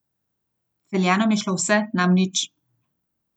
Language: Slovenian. Celjanom je šlo vse, nam nič.